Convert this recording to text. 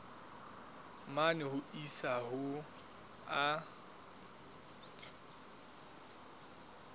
mane ho isa ho a